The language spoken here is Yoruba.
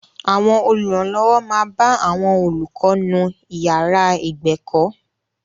Àwọn olùrànlọ́wọ́ máa bá àwọn olùkọ́ nú ìyàrá ìgbẹ̀kọ́.